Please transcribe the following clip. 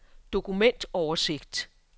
dokumentoversigt